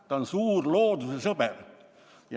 Ta on suur loodusesõber.